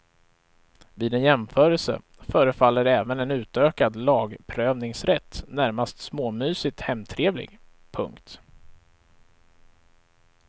Vid en jämförelse förefaller även en utökad lagprövningsrätt närmast småmysigt hemtrevlig. punkt